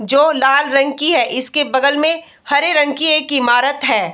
जो लाल रंग की है इसके बगल में हरे रंग की एक ईमारत है।